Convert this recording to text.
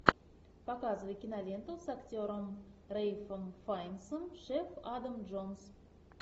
показывай киноленту с актером рэйфом файнсом шеф адам джонс